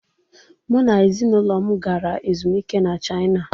Mụ na ezinụlọ m gara ezumike na china.